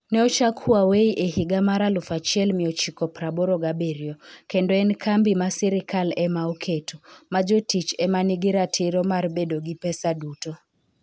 Ne ochak Huawei e higa mar 1987, kendo en kambi ma sirkal ema oketo, ma jotich e ma nigi ratiro mar bedo gi pesa duto.